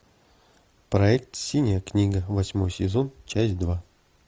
проект синяя книга восьмой сезон часть два